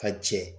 Ka jɛ